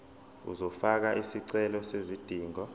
uzofaka isicelo sezidingo